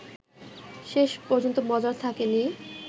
শেষ পর্যন্ত মজার থাকেনি